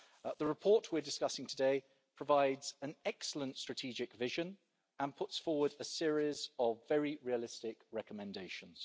The report we are discussing today provides an excellent strategic vision and puts forward a series of very realistic recommendations.